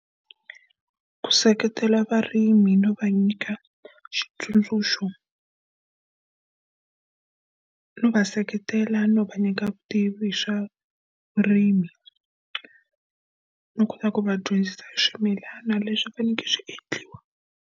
Ku seketela varimi no va nyika xitsundzuxo no va seketela, no va nyika vutivi swa vurimi, no kota ku va dyondzisa hi swimilana leswi faneleke swi endliwa.